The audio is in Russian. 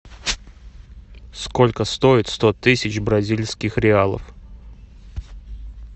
сколько стоит сто тысяч бразильских реалов